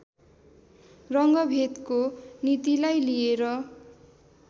रङ्गभेदको नीतिलाई लिएर